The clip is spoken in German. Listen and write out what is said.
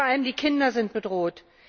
Vor allem die Kinder sind bedroht.